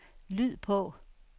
lyd på